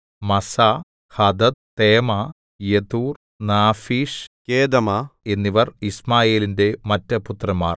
മസ്സാ Hadad Tema Jetur Naphish Kedemah എന്നിവർ യിശ്മായേലിന്റെ മറ്റുപുത്രന്മാർ